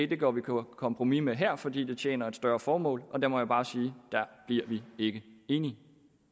vil gå på kompromis med her og at fordi det tjener et større formål og der må jeg bare sige der bliver vi ikke enige